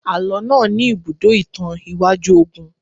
Àlọ́ náà ní ibùdó ìtàn iwájú ogun